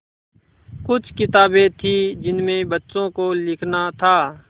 कुछ किताबें थीं जिनमें बच्चों को लिखना था